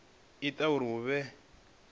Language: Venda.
o ita uri hu vhe